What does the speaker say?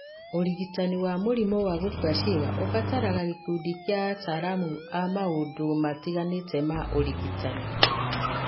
Ũrigitani wa mũrimũ wa gũkua ciĩga ũbataraga gĩkundi kĩa ataramu a maũndũ matiganĩte ma ũrigitani.